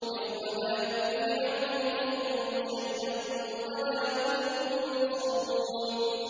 يَوْمَ لَا يُغْنِي عَنْهُمْ كَيْدُهُمْ شَيْئًا وَلَا هُمْ يُنصَرُونَ